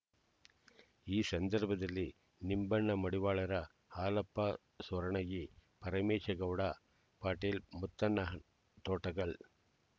ಈ ಸಂದರ್ಭದಲ್ಲಿ ನಿಂಬಣ್ಣ ಮಡಿವಾಳರ ಹಾಲಪ್ಪ ಸೂರಣಗಿ ಪರಮೇಶಗೌಡ ಪಾಟೀಲ್ ಮುತ್ತಣ್ಣ ತೋಟಗಲ್